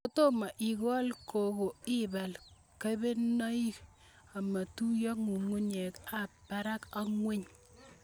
Kotomo ikol koko ipal kebenonik ametuye ng'ug'unyek ab barak ak ng'weny